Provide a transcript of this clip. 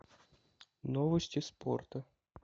новости спорта